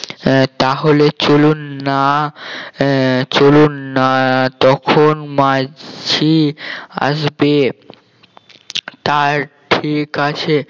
আহ তাহলে চলুননা আহ চলুননা তখন মাঝি আসবে তার ঠিক আছে